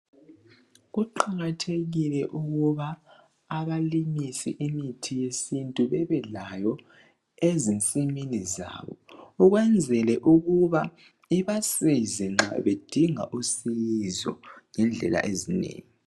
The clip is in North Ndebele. Kuqakathekile ukuba abalimisi bemithi yesintu bebelayo ezinsimini zabo ukwenzela ukuba ibasize nxa bedinga usizo ngendlela ezinengi.